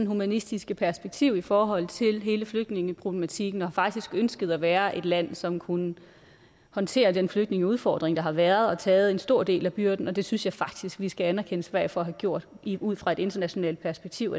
humanistiske perspektiv i forhold til hele flygtningeproblematikken og faktisk har ønsket at være et land som kunne håndtere den flygtningeudfordring der har været og har taget en stor del af byrden det synes jeg faktisk vi skal anerkende sverige for at have gjort ud fra et internationalt perspektiv